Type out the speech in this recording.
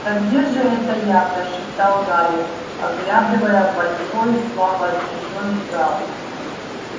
да где же это я прошептал гарри оглядывая большой слабо освещённый зал